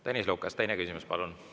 Tõnis Lukas, teine küsimus, palun!